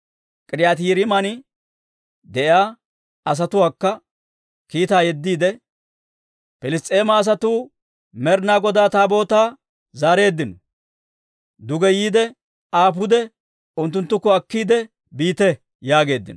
K'iriyaati-Yi'aariiman de'iyaa asatuwaakko kiitaa yeddiide, «Piliss's'eema asatuu Med'inaa Godaa Taabootaa zaareeddino; duge yiide, Aa pude unttunttukko akkiide biite» yaageeddino.